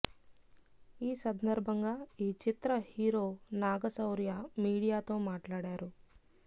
ఈ సంధర్బంగా ఈ చిత్ర హీరో నాగశౌర్య మీడియా తో మాట్లాడారు